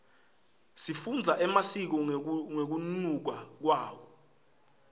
sifundza emasiko ngekunluka kwawo